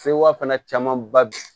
Sewa fana camanba bɛ